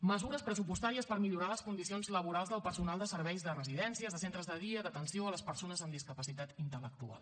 mesures pressupostàries per millorar les condicions laborals del personal de serveis de residències de centres de dia d’atenció a les persones amb discapacitat intel·lectual